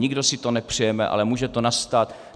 Nikdo si to nepřejeme, ale může to nastat.